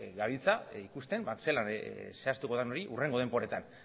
gabiltza ikusten zelan zehaztuko den hori hurrengo denboretan